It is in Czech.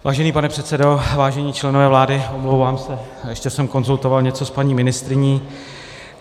Vážený pane předsedo, vážení členové vlády, omlouvám se, ještě jsem konzultoval něco s paní ministryní.